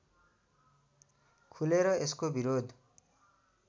खुलेर यसको विरोध